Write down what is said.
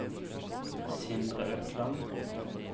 Sindre Økland